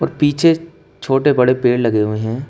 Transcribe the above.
पीछे छोटे बड़े पेड़ लगे हुए हैं।